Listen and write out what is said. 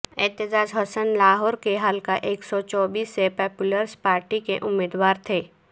اعتزاز احسن لاہور کے حلقہ ایک سو چوبیس سے پیپلز پارٹی کے امیدوار تھے